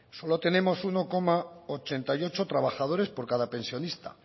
solo tenemos uno coma ochenta y ocho trabajadores por cada pensionista